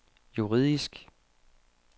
juridisk